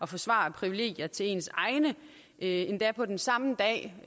forsvare privilegier til ens egne endda på den samme dag